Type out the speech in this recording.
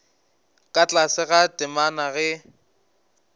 ka tlase ga temana ge